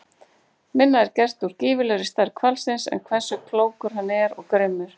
Minna er gert úr gífurlegri stærð hvalsins en hversu klókur hann er og grimmur.